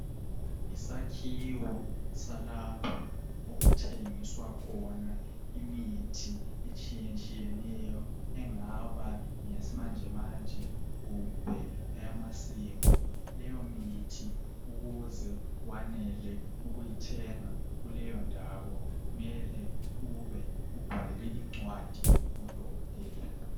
Yisakhiwo salapha okuthengiswa khona imithi etshiyetshiyeneyo engaba ngeyesimanjemanje kumbe eyamasiko leyo mithi ukuze wanele ukuyithenga kuleyo ndawo kumele ube ubhalelwe incwadi ngudokotela.